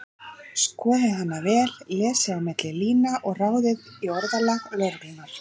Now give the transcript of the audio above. Skoðið hana vel, lesið á milli lína og ráðið í orðalag lögreglunnar.